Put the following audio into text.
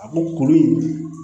A ko kuru in